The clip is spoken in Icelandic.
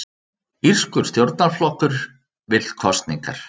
Írskur stjórnarflokkur vill kosningar